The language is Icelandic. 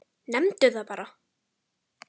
Nefndu það bara!